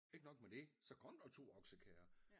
Ikke nok med det så kom der 2 okeskærrer